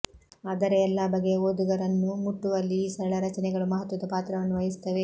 ಆದರೆ ಎಲ್ಲ ಬಗೆಯ ಓದುಗರನ್ನೂ ಮುಟ್ಟುವಲ್ಲಿ ಈ ಸರಳ ರಚನೆಗಳು ಮಹತ್ವದ ಪಾತ್ರವನ್ನು ವಹಿಸುತ್ತವೆ